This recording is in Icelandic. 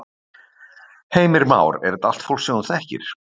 Heimir Már: Er þetta allt fólk sem þú þekkir?